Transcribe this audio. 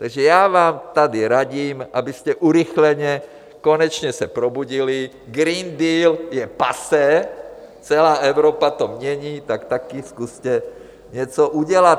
Takže já vám tady radím, abyste urychleně konečně se probudili, Green Deal je passé, celá Evropa to mění, tak taky zkuste něco udělat.